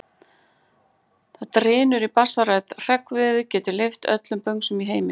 Það drynur í bassarödd: Hreggviður getur lyft öllum böngsum í heimi!